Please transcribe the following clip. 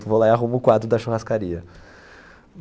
Eu vou lá e arrumo o quadro da churrascaria.